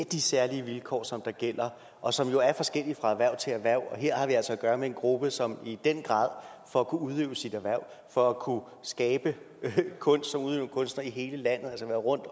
de særlige vilkår som gælder og som jo er forskellige fra erhverv til erhverv her har vi altså at gøre med en gruppe som i den grad for at kunne udøve sit erhverv for at kunne skabe kunst som udøvende kunstnere i hele landet altså at være rundt